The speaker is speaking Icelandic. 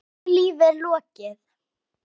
Löngu lífi er lokið.